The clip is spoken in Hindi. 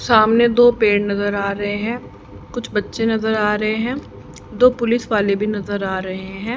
सामने दो पेड़ नजर आ रहे है कुछ बच्चे नजर आ रहे है दो पुलिस वाले भी नजर आ रहे है।